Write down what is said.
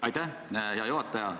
Aitäh, hea juhataja!